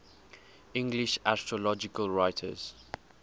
english astrological writers